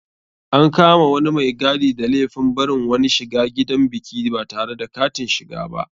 An kama wani mai gadi da laifin barin wani shiga gidan biki batare da katin shiga ba.